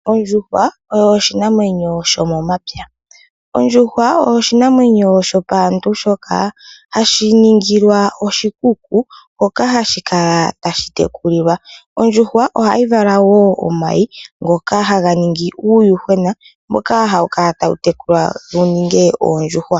Ondjuhwa oyo oshinamwenyo shomomapya. Ondjuhwa oyo oshinamwenyo shopaantu shoka hashi ningilwa oshikuku hoka hashi kala tashi tekulilwa. Oondjuhwa ohadhi vala wo omayi ngoka haga ningi uuyuhwena mboka hawu kala tawu tekulwa wuninge oondjuhwa.